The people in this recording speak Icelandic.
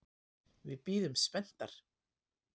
Við bíðum spenntar.